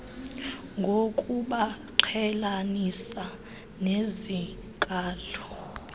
ngokubaqhelanisa nezi nkalo